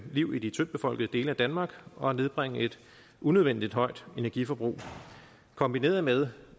liv i de tyndtbefolkede dele af danmark og at nedbringe et unødvendigt højt energiforbrug kombineret med